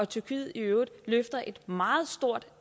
tyrkiet i øvrigt løfter et meget stort